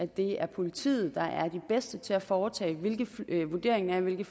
det er politiet der er de bedste til at foretage en vurdering af hvilke